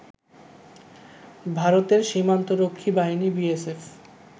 ভারতের সীমান্তরক্ষী বাহিনী বিএসএফ